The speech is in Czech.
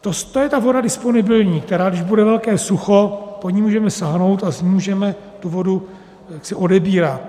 To je ta voda disponibilní, která když bude velké sucho, po ní můžeme sáhnout a z ní můžeme tu vodu jaksi odebírat.